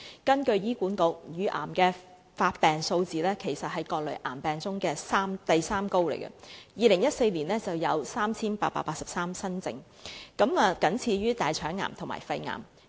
根據醫管局的資料，乳癌的發病數字在各類癌症中位列第三高，在2014年有 3,883 宗新症，僅次於大腸癌和肺癌。